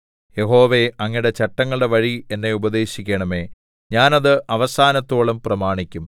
യഹോവേ അങ്ങയുടെ ചട്ടങ്ങളുടെ വഴി എന്നെ ഉപദേശിക്കണമേ ഞാൻ അത് അവസാനത്തോളം പ്രമാണിക്കും